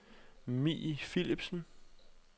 Mie Philipsen